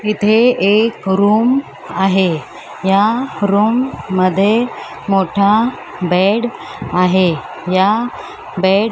इथे एक रूम आहे या रूम मध्ये मोठा बेड आहे या बेड --